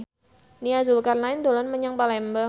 Nia Zulkarnaen dolan menyang Palembang